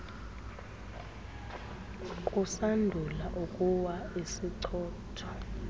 kusandula ukuwa isichotho